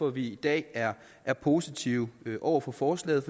at vi i dag er er positive over for forslaget